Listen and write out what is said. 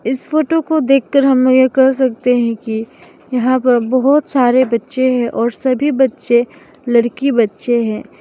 इस फोटो को देखकर हम यह कह सकते हैं कि यहां पर बहोत सारे बच्चे हैं और सभी बच्चे लड़की बच्चे हैं।